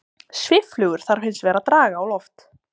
Svifflugur þarf hins vegar að draga á loft.